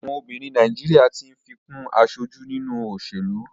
Àwọn obìnrin Nàìjíríà tí ń fi kún aṣojú nínú òṣèlú.